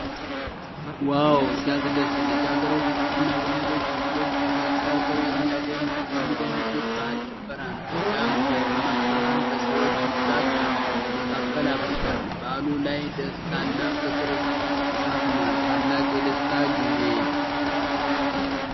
ዋው! ሲያስደስት! ልጃገረዶችና ወንዶች ልጆች ክብ ሰርተው የሚደንሱበት የባህል ጭፈራ ነው። ሲያምር! ደማቅ ብርሃን በሰዎች ብዛት መካከል አብርቷል። በዓሉ ላይ ደስታና ፍቅር ሰፍኗል። ታላቅ የደስታ ጊዜ!